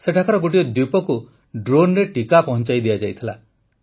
ସେଠାକାର ଗୋଟିଏ ଦ୍ୱୀପକୁ ଡ୍ରୋନରେ ଟିକା ପହଞ୍ଚାଇ ଦିଆଯାଇଥିଲା